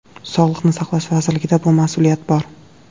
Sog‘liqni saqlash vazirligida bu mas’uliyat bor.